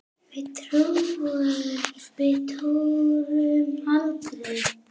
Við túrum aldrei!